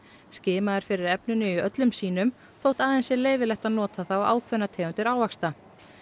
skimað er fyrir efninu í öllum sýnum þótt aðeins sé leyfilegt að nota það á ákveðnar tegundir ávaxta